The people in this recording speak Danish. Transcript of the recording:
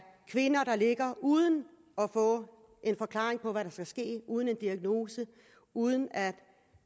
kvinder der ligger uden at få en forklaring på hvad der skal ske uden en diagnose uden at